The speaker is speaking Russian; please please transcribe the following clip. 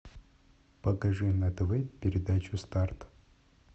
покажи на тв передачу старт